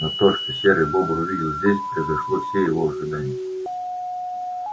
но то что серый бобр увидел здесь превзошло все его ожидания